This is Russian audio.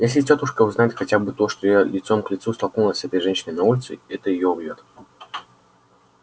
если тётушка узнает хотя бы то что я лицом к лицу столкнулась с этой женщиной на улице это её убьёт